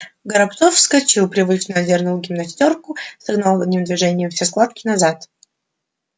горобцов вскочил привычно одёрнул гимнастёрку согнав одним движением все складки назад